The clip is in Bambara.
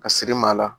Ka siri maa la